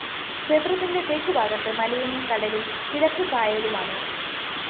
ക്ഷേത്രത്തിന്റെ തെക്കുഭാഗത്ത് മലയും കടലും കിഴക്ക് കായലുമാണ്